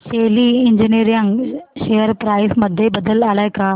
शेली engineering share price मध्ये बदल आलाय का